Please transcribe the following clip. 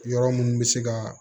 Yɔrɔ mun bɛ se ka